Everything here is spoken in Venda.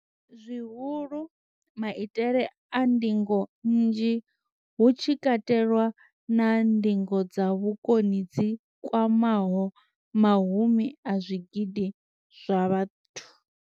Zwihulu, maitele a ndingo nnzhi, hu tshi katelwa na ndingo dza vhukoni dzi kwamaho mahumi a zwigidi zwa vhathu.